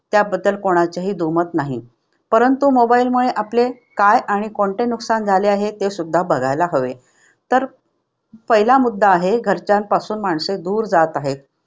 त्याबद्दल कोणाचेही दूमत नाही. परंतु mobile मुळे आपले काय आणि कोणते नुकसान झाले आहे ते सुद्धा बघायला हवे. तर पहिला मुद्दा आहे घरच्यांपासून माणसे दूर जात आहे.